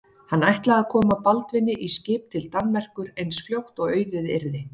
Hann ætlaði að koma Baldvini í skip til Danmerkur eins fljótt og auðið yrði.